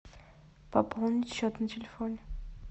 пополнить счет на телефоне